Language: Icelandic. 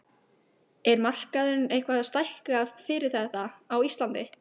Er markaðurinn eitthvað að stækka fyrir þetta á Íslandi?